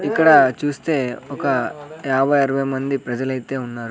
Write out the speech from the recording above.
ఇక్కడ చూస్తే ఒక యాబై అరవై మంది ప్రజలైతే ఉన్నారు.